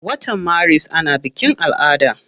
Wata maris ana bikin ala'ada.